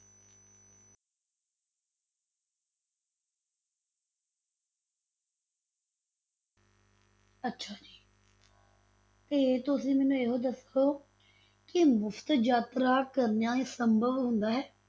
ਅੱਛਾ ਜੀ ਤੇ ਤੁਸੀਂ ਮੈਨੂੰ ਇਹ ਦੱਸੋ ਕਿ ਮੁਫ਼ਤ ਯਾਤਰਾ ਕਰਨਾ ਸੰਭਵ ਹੁੰਦਾ ਹੈ?